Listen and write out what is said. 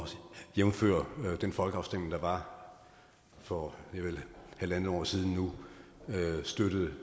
jævnfør den folkeafstemning der var for vel halvandet år siden nu støttede